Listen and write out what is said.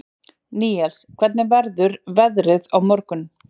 Níels, hvernig verður veðrið á morgun?